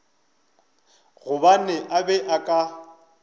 gobane a be a ka